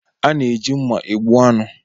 A na-eji mma egbu anụ